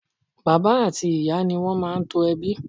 Bàbá àti Ìyá ni wón máa ń to ẹbí.